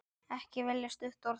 Ekki velja stutt orð.